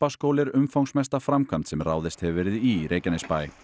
stapaskóli er umfangsmesta framkvæmd sem ráðist hefur verið í Reykjanesbæ